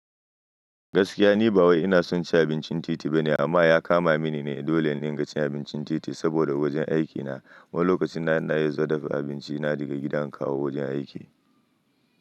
Gaskiya ni ba wai ina son ci abincin titi ba ne amma ya kama mini ne dolle in rika cin abincin titi saboda wajen aikina. Wani lokaci na ina yi dafa abinci na daga gida in kawo wajen aiki.